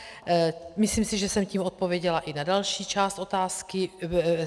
Myslím si, že jsem tím odpověděla i na další část otázky.